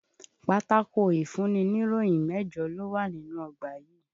Pátákó ìfúnniníròyì mẹ́jọ ló wà nínú ọgbà yìí.